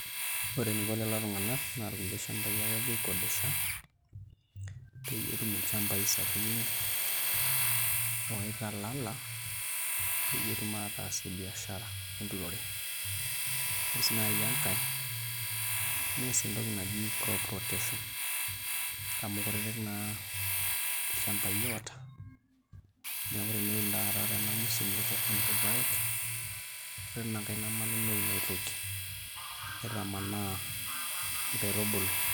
Ore eniko lelo tung'anak naa kulie shambai ake epuo aikodesha peyie etum ilchambai sapukin oitalala peyie etum aataasie biashara enturore, ore sii naai enkae nees entoki naji crop rotation amu kutitik naa ilchambai oota neeku teneun taata tena msimu irpaek ore tinankae namanu neun ai toki, nitamanaa nkaitubulu.